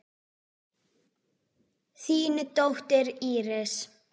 Þín dóttir, Íris.